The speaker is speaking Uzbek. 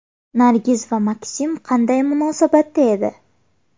Nargiz va Maksim qanday munosabatda edi?